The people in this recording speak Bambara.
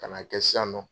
Ka n'a kɛ sisan nɔ